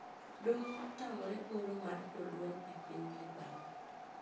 Doho otamre oro mar jolweny e piny libamba